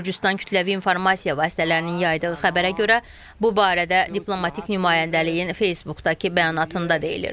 Gürcüstan kütləvi informasiya vasitələrinin yaydığı xəbərə görə, bu barədə diplomatik nümayəndəliyin Facebookdakı bəyanatında deyilir.